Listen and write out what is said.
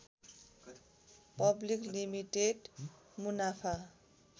public limited मुनाफा